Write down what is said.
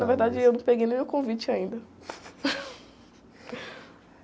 verdade, eu não peguei nem o convite ainda.